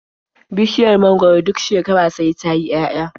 Bishiya mangwaro duk shekara sai ta yi 'ya'ya.